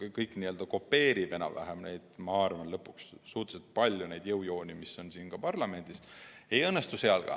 Aga kuna see kopeerib enam-vähem, ma arvan, neidsamu jõujooni, mis on parlamendis, siis ei õnnestu valimine ka seal.